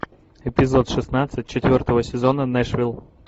эпизод шестнадцать четвертого сезона нэшвилл